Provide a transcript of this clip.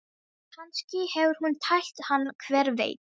Kannski hefur hún tælt hann, hver veit?